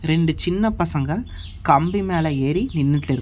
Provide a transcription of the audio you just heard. ரெண்டு சின்ன பசங்க கம்பி மேல ஏறி நின்னுட்டுருக்கா.